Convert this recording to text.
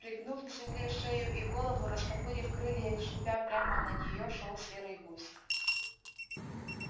пригнув к земле шею и голову растопырив крылья и шипя прямо на нее шёл серый гусь